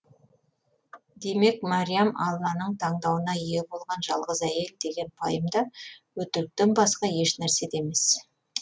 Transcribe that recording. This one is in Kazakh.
демек мариям алланың таңдауына ие болған жалғыз әйел деген пайым да өтіріктен басқа ешнәрсе де емес